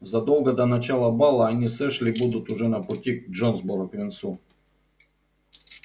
задолго до начала бала они с эшли будут уже на пути к джонсборо к венцу